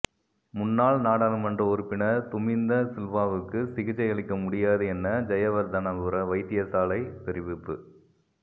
முன்னாள் நாடாளுமன்ற உறுப்பினர் துமிந்த சில்வாவுக்கு சிகிச்சையளிக்க முடியாது என ஜயவர்தனபுர வைத்தியசாலைல் தெரிவிப்பு